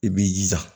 I b'i jija